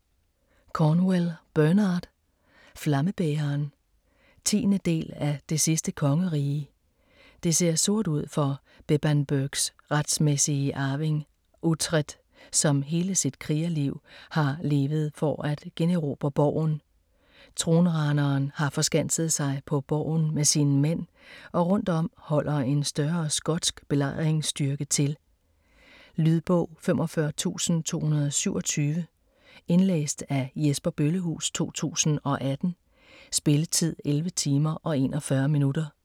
Cornwell, Bernard: Flammebæreren 10. del af Det sidste kongerige. Det ser sort ud for Bebbanburgs retmæssige arving Uhtred, som hele sit krigerliv har levet for at generobre borgen. Tronraneren har forskanset sig på borgen med sine mænd, og rundt om holder en større skotsk belejringsstyrke til. Lydbog 45227 Indlæst af Jesper Bøllehuus, 2018. Spilletid: 11 timer, 41 minutter.